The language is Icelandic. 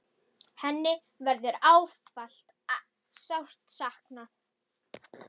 Hennar verður ávallt sárt saknað.